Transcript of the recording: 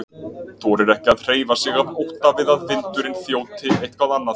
Þorir ekki að hreyfa sig af ótta við að vindurinn þjóti eitthvað annað.